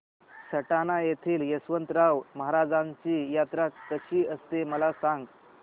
सटाणा येथील यशवंतराव महाराजांची यात्रा कशी असते मला सांग